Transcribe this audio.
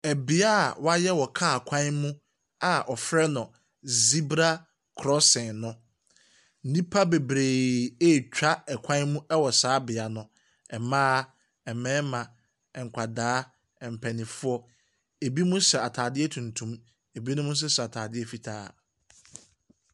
Bea a wɔayɛ wɔcar kwan mu a wɔfrɛ no Zibra crossing no, nnipa bebree retwa kwan mu wɔ saa beae no, mmaa, mmarima, nkwadaa, mpanimfo. Ebinom hyɛ ataadeɛ tuntum, ebi nso hyɛ ataadeɛ fitaa.